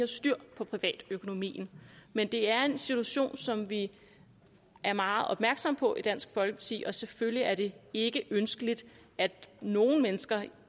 styr på privatøkonomien men det er en situation som vi er meget opmærksomme på i dansk folkeparti og selvfølgelig er det ikke ønskeligt at nogle mennesker